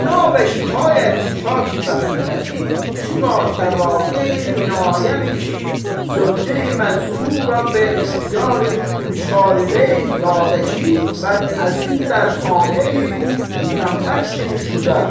Binabe şikayəti şaki bə xidməti şümə təvaqeyi minayəmi ki zövcəyi məzkuru rə bə ixtiyari müşarileyh dadə ki bəd əz in dar xaneyi u mütəmkkin şudə.